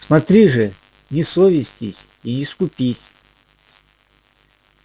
смотри же не совестись и не скупись